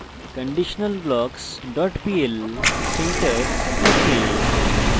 conditionalblocks pl syntax ok